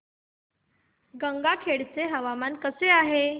गंगाखेड चे हवामान कसे आहे